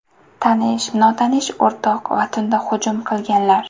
Tanish, notanish o‘rtoq va tunda hujum qilganlar.